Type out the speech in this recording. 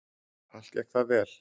Allt gekk það vel.